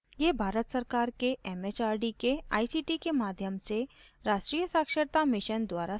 यह भारत सरकार के एमएचआरडी के आईसीटी के माध्यम से राष्ट्रीय साक्षरता mission द्वारा समर्थित है